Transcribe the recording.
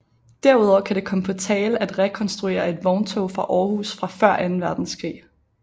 Derudover kan det komme på tale at rekonstruere et vogntog fra Aarhus fra før anden verdenskrig